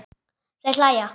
Þau hlæja.